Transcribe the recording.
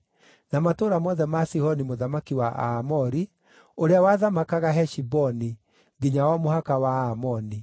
na matũũra mothe ma Sihoni mũthamaki wa Aamori, ũrĩa wathamakaga Heshiboni, nginya o mũhaka wa Aamoni.